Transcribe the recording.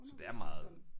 Så det er meget